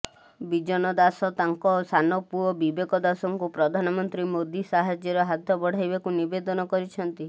ବିଜନ ଦାସ ତାଙ୍କ ସାନ ପୁଅ ବିବେକ ଦାସଙ୍କୁ ପ୍ରଧାନମନ୍ତ୍ରୀ ମୋଦି ସାହାଯ୍ୟର ହାତ ବଢ଼ାଇବାକୁ ନିବେଦନ କରିଛନ୍ତି